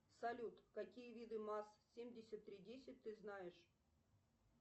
салют какие виды маз семьдесят три десять ты знаешь